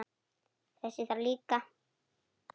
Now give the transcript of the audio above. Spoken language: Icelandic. Þess þarf líka.